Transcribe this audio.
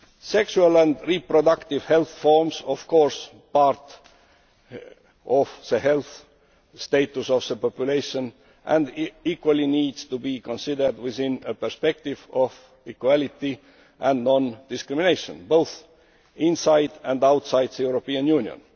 Sexual and reproductive health is, of course, part of the health status of the population and equally needs to be considered within a perspective of equality and non discrimination, both inside and outside the European Union.